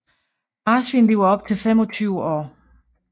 Marsvin lever op til 25 år